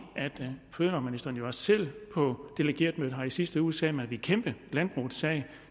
at fødevareministeren jo også selv på delegeretmødet her i sidste uge sagde at man ville kæmpe landbrugets sag